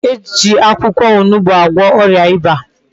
E ji akwukwo onugbu agwo oria Iba